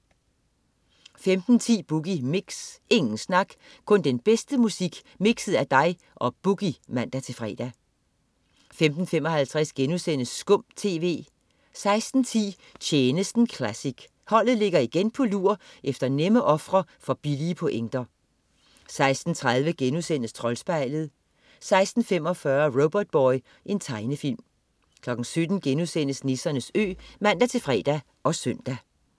15.10 Boogie Mix. Ingen snak, kun den bedste musik mikset af dig og "Boogie" (man-fre) 15.55 Skum TV* 16.10 Tjenesten classic. Holdet ligger igen på lur efter nemme ofre for billige pointer 16.30 Troldspejlet* 16.45 Robotboy. Tegnefilm 17.00 Nissernes Ø* (man-fre og søn)